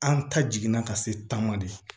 An ta jiginna ka se taama de